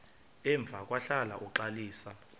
emva kwahlala uxalisa